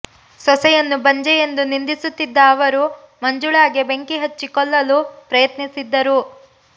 ಸೊಸೆಯನ್ನು ಬಂಜೆ ಎಂದು ನಿಂದಿಸುತ್ತಿದ್ದ ಅವರು ಮಂಜುಳಾಗೆ ಬೆಂಕಿ ಹಚ್ಚಿ ಕೊಲ್ಲಲು ಪ್ರಯತ್ನಿಸಿದ್ದರು